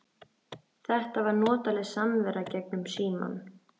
Þetta var notaleg samvera gegnum símann.